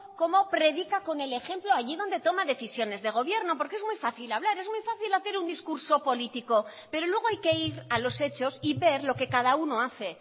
cómo predica con el ejemplo allí donde toma decisiones de gobierno porque es muy fácil hablar es muy fácil hacer un discurso político pero luego hay que ir a los hechos y ver lo que cada uno hace